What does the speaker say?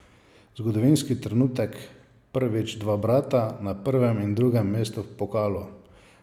Zgodovinski trenutek, prvič dva brata na prvem in drugem mestu v pokalu.